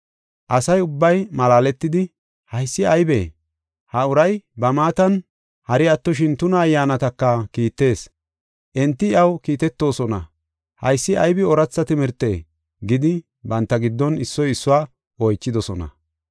Asa ubbay malaaletidi, “Haysi aybee? Ha uray ba maatan hari attoshin tuna ayyaanataka kiittees. Enti iyaw kiitetoosona; haysi aybi ooratha timirtee?” gidi, banta giddon issoy issuwa oychidosona.